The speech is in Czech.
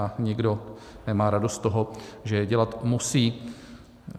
A nikdo nemá radost z toho, že je dělat musí.